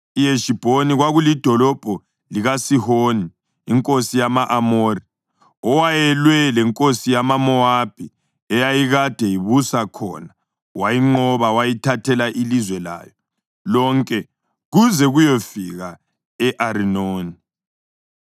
IHeshibhoni kwakulidolobho likaSihoni inkosi yama-Amori, owayelwe lenkosi yamaMowabi eyayikade ibusa khona wayinqoba wayithathela ilizwe layo lonke kuze kuyefika e-Arinoni.